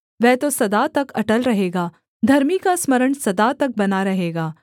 वह तो सदा तक अटल रहेगा धर्मी का स्मरण सदा तक बना रहेगा